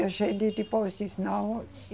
E a gente depois diz, não.